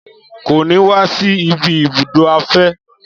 Kò ní wa si ibi ibùdó afẹ́